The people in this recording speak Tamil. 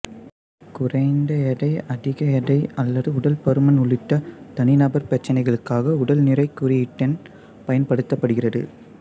குறைந்த எடை அதிக எடை அல்லது உடல் பருமன் உள்ளிட்ட தனிநபர் பிரச்சினைகளுக்காக உடல் நிறை குறியீட்டெண் பயன்படுத்தப்படுகிறது